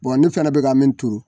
ne fɛnɛ bɛ ka min turu